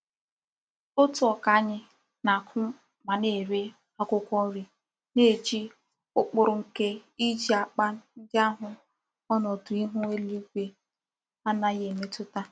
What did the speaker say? Otu uka anyi na-aku ma na-ere akwukwo nri na-eji ukpuru nke Iji akpa ndi ahu onodu ihu elu igwe anaghi emetuta.